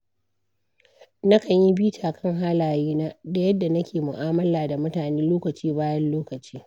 Nakan yi bita kan halayena da yadda nake mu’amala da mutane lokaci bayan lokaci.